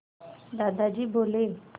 दादाजी बोले